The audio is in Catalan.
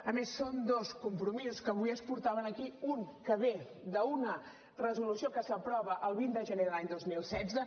a més són dos compromisos que avui es portaven aquí un que ve d’una resolució que s’aprova el vint de gener de l’any dos mil setze